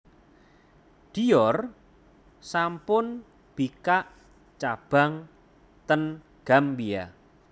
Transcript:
Dior sampun bikak cabang ten Gambia